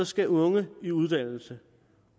skal unge i uddannelse